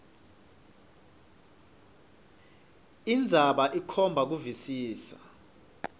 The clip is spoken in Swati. indzaba ikhomba kuvisisa